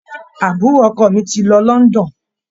Àbúrò ọkọ mi ti lọ London.